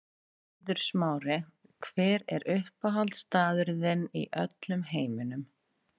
Eiður Smári Hver er uppáhaldsstaðurinn þinn í öllum heiminum?